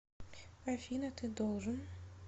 афина ты должен